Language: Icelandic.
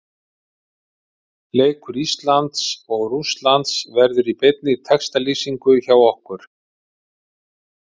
Leikur Íslands og Rússlands verður í beinni textalýsingu hjá okkur.